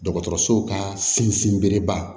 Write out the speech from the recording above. Dɔgɔtɔrɔsow ka sinsin bereba